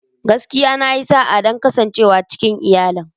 Gaskiya! Na yi sa'a don kasancewa cikin iyalin.